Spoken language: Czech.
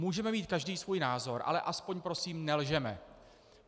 Můžeme mít každý svůj názor, ale aspoň prosím nelžeme.